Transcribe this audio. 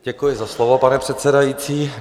Děkuji za slovo, pane předsedající.